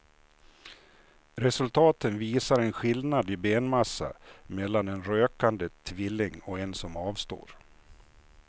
Resultaten visar en skillnad i benmassa mellan en rökande tvilling och en som avstår.